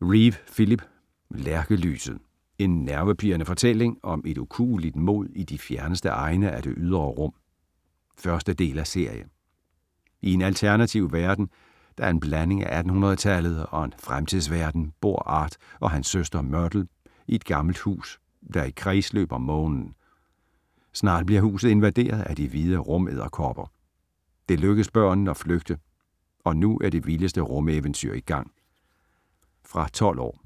Reeve, Philip: Lærkelyset: en nervepirrende fortælling om et ukueligt mod i de fjerneste egne af det ydre rum 1. del af serie. I en alternativ verden, der er en blanding af 1800-tallet og en fremtidsverden bor Art og hans søster Myrtle i et gammelt hus, der er i kredsløb om Månen. Snart bliver huset invaderet af de hvide rumedderkopper. Det lykkes børnene at flygte, og nu er det vildeste rumeventyr i gang. Fra 12 år.